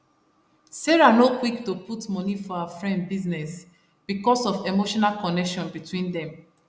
sarah no quick to put money for her friend business because of emotional connection between dem